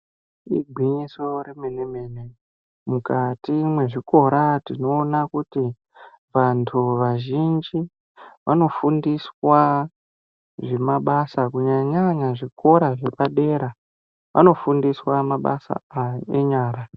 Igwinyiso remene-mene mukati mezvikora tinoona kuti vantu vazhinji vanofundiswa mabasa kunyanya nyanya zvikora zvepadera vanofundiswa mabasa enyara.